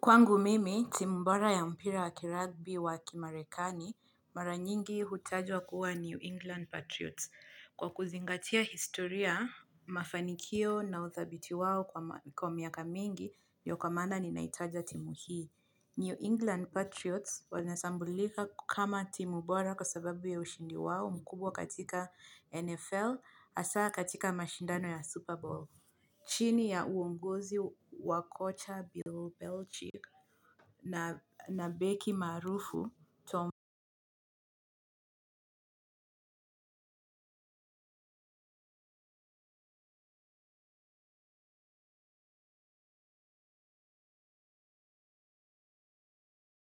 Kwangu mimi, timu bora ya mpira wa kiragbi wa kimarekani, mara nyingi hutajwa kuwa New England Patriots kwa kuzingatia historia, mafanikio na uthabiti wao kwa miaka mingi ndiyo kwa maana ninaitaja timu hii. New England Patriots wanasambulika kama timu bora kwa sababu ya ushindi wao mkubwa katika NFL hasaa katika mashindano ya Super Bowl. Chini ya uonguzi wa kocha Bilobelchi na beki maarufu